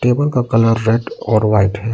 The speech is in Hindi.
टेबल का कलर रेड और व्हाइट है।